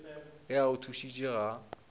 ge a go thušitše ga